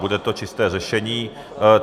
Bude to čisté řešení.